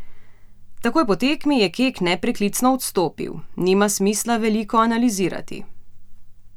Takoj po tekmi je Kek nepreklicno odstopil: "Nima smisla veliko analizirati.